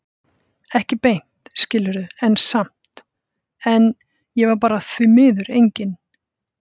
Ekki beint, skilurðu, en samt- En ég var bara því miður engin